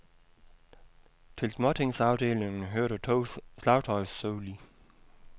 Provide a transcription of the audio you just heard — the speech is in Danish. Til småtingsafdelingen hørte to slagtøjssoli.